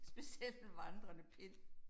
Specielt en vandrende pind